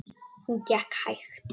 Hún gekk hægt.